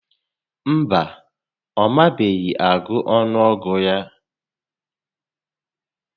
Mba, ọ mabeghị agụ ọnụọgụ ya